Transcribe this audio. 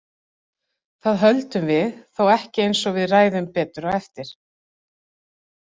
Það höldum við þó ekki eins og við ræðum betur á eftir.